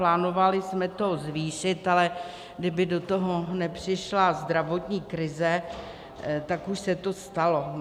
Plánovali jsme to zvýšit, ale kdyby do toho nepřišla zdravotní krize, tak už se to stalo.